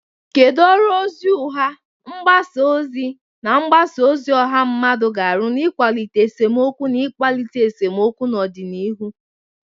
Kedu ọrụ ozi ụgha, mgbasa ozi, na mgbasa ozi ọha mmadụ ga-arụ n'ịkwalite esemokwu na ịkpalite esemokwu n'ọdịnihu?